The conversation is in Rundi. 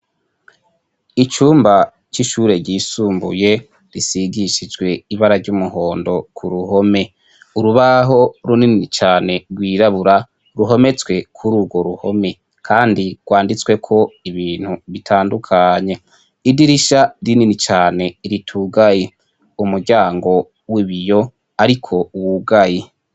Icumba c'ishure ryisumbuye gisigishijwe ibara ry'umuhondo k'uruhome, urubaho runini cane rwirabura ruhometswe k'ururwo ruhome ,kandi rwanditsweko ibintu bitandukanye, idirisha rinini cane ritugaye ,umuryango w'ibiyo ariko utugaye.